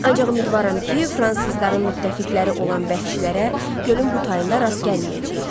Ancaq ümidvaram ki, fransızların müttəfiqləri olan vəhşilərə gölün bu tayında rast gəlməyəcəyik.